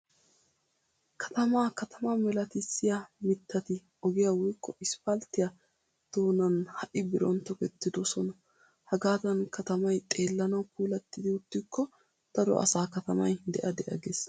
Katamaa katama milatissiya mittati ogiya woykko isppalttiya doonan ha"i birooni tokettidosona. Hagaadan katamay xeellanawu puulattidi uttikko daro asaa katamay de'a de'a gees.